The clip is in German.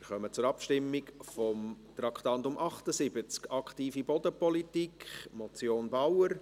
Wir kommen zur Abstimmung über Traktandum 78, «Aktive Bodenpolitik», Motion Bauer.